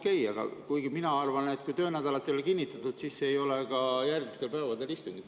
Kuigi mina arvan, et kui töönädala ei ole kinnitatud, siis ei ole ka järgmistel päevadel istungit.